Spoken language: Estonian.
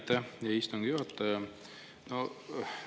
Aitäh, hea istungi juhataja!